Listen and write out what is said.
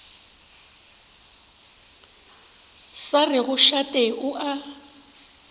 sa rego šate o a